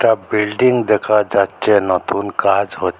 building দেখা যাচ্ছে নতুন কাজ হ--